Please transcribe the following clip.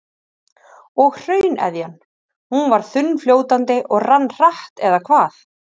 Og hrauneðjan, hún var þunnfljótandi og rann hratt eða hvað?